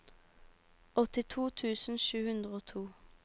åttito tusen sju hundre og to